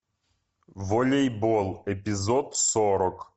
волейбол эпизод сорок